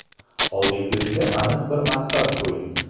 Oldingizga aniq bir maqsad qo‘ying.